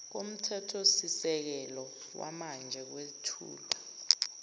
komthethosisekelo wamanje kwethulwa